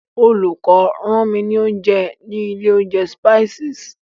Olùkó rán mi ní oúnjẹ ní ilé oúnjẹ Spices.